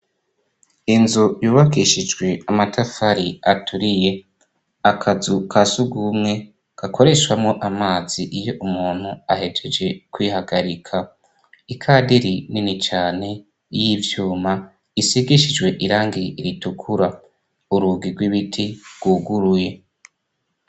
Inzu yubakishijwe amatafari aturiye akazu ka sugumwe gakoreshwamwo amazi iyo umuntu ahejeje kwihagarika ikadiri nini cane y'ivyuma isigishijwe irangiye iritukura urugi rw'ibiti rwuguruye h.